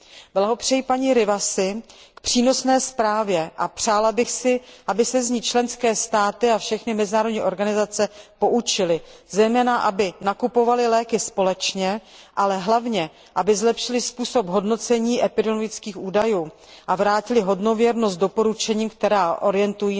Blahopřeji paní Rivasiové k přínosné zprávě a přála bych si, aby se z ní členské státy a všechny mezinárodní organizace poučily, zejména aby nakupovaly léky společně, ale hlavně aby zlepšily způsob hodnocení epidemiologických údajů a vrátily hodnověrnost doporučením určeným